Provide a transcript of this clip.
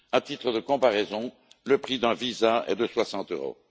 À titre de comparaison, le prix d'un visa est de 60 euros.